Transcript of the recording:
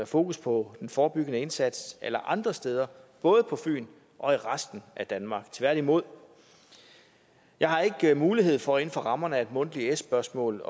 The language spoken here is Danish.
fokus på den forebyggende indsats alle andre steder både på fyn og i resten af danmark tværtimod jeg har ikke mulighed for inden for rammerne af et mundtligt s spørgsmål